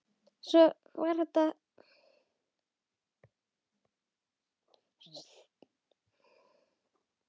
Og svona var þetta.